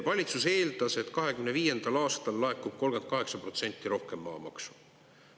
Valitsus eeldas, et 2025. aastal laekub 38% rohkem maamaksu.